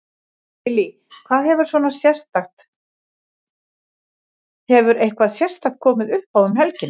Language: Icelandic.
Lillý: Hvað hefur svona sérstakt, hefur eitthvað sérstakt komið uppá um helgina?